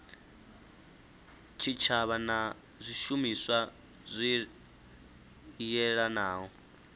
tshitshavha na zwishumiswa zwi yelanaho